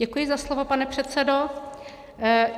Děkuji za slovo, pane předsedo.